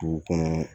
Dugu kɔnɔ